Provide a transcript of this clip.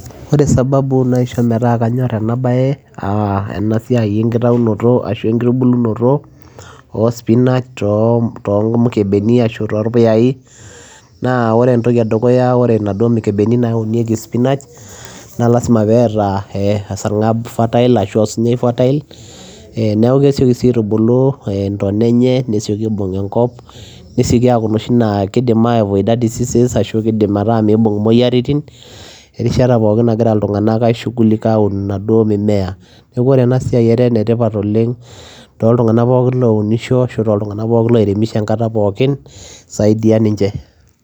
Ore sababu naishoo metaa kanyorr enaa bayee enaa siai enkitubulunotoo oo [spinach to mikebeni naa oree mikibeni naa lazima peyiee eeta esarmag fertile ashuaa osinyai neeku kesiokii sii aaitubulu ntona enye nibung enkop peyiee iia avoid disease erishata pookin nagira ilntunganak aaishugulika oomaduoo mimea neekuu etaa ena siai ene tipat too ilntunganak pookin oounishoo enkata pookin